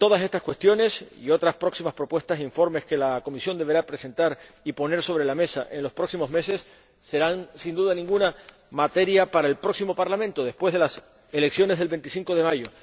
Todas estas cuestiones y otras próximas propuestas e informes que la comisión deberá presentar y poner sobre la mesa en los próximos meses serán, sin duda alguna, materia para el próximo Parlamento, después de las elecciones del 25 de mayo.